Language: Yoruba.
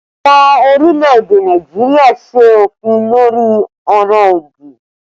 Ìjọba orílẹ̀ èdè Nàìjíríà ṣe òfin lórí ọ̀rọ̀ òdì